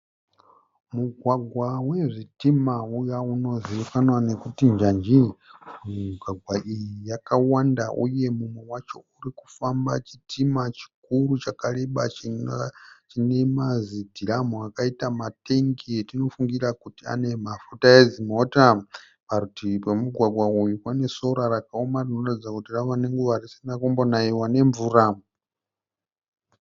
Mugwagwa wezvitima uya unozivikanwa nokuti njanji. Migwagwa iyi yakawanda uye mumwe wacho uri kufamba chitima chikuru chakareba chine mazidhiramu akaita matengi etinofungira kuti ane mafuta edzimota. Parutivi pemugwagwa uyu pane sora rakaoma rinoratidza kuti rave nenguva risina kumbonaiwa nemvura.